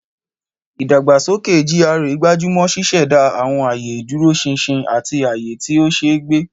Ìdàgbàsókè GRA gbájú mọ́ ṣíṣẹ̀dá àwọn ààyè ìdúróṣinṣin àti ààyè tí ó ṣe é gbé.